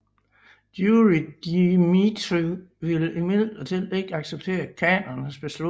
Jurij Dmitrijevitj ville imidlertid ikke acceptere khanens beslutning